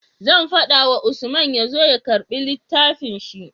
Zan fada wa Usman yazo ya karbi littafin shi